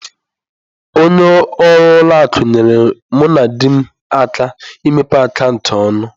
Onye ọrụ ụlọ akụ nyeere mụ na di m aka imepe akaụntụ ọnụ.